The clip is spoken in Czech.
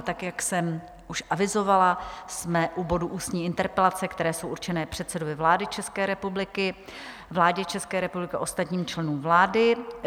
A tak, jak jsem už avizovala, jsme u bodu ústní interpelace, které jsou určené předsedovi vlády České republiky, vládě České republiky a ostatním členům vlády.